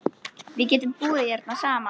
Við getum búið hérna saman.